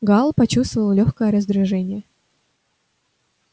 гаал почувствовал лёгкое раздражение